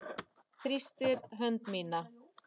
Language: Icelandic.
Þrýstir hönd mína.